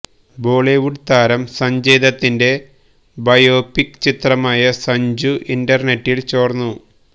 ബോളിവുഡ് താരം സഞ്ജയ്ദത്തിന്റെ ബയോപിക് ചിത്രമായ സഞ്ജു ഇന്റർനെറ്റിൽ ചോർന്നു